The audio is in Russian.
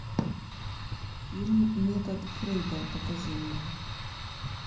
фильм метод фрейда покажи мне